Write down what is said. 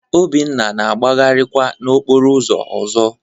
Obinna na-agbagharịkwa n'okporo ụzọ ọzọ